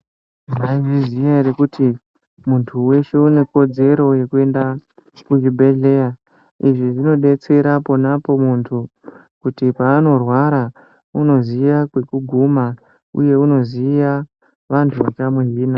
Mwaizviziya ere kuti muntu weshe une kodzero yekuenda kuzvibhehleya. Izvi zvinodetsera ponapo muntu kuti paanorwara unoziya kwekuguma uye unoziva vanhu vachamuzvina.